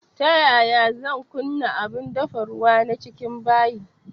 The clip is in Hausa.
Ta yaya zan kunna abun dafa ruwa na cikin bayi